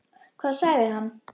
Hvað sagði hann?